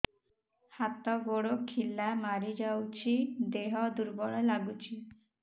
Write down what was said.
ହାତ ଗୋଡ ଖିଲା ମାରିଯାଉଛି ଦେହ ଦୁର୍ବଳ ଲାଗୁଚି